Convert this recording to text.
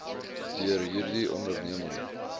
deur hierdie onderneming